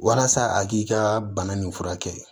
Walasa a k'i ka bana nin furakɛ